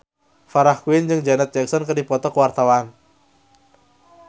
Farah Quinn jeung Janet Jackson keur dipoto ku wartawan